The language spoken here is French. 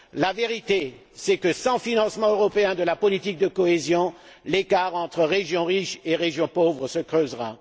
La vérité est que, sans financement européen de la politique de cohésion, l'écart entre régions riches et régions pauvres se creusera.